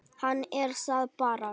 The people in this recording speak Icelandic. Hann er það bara.